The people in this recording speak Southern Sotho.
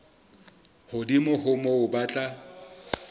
hodimo ho moo ba tla